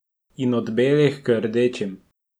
In od belih k rdečim.